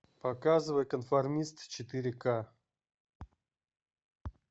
показывай конформист четыре ка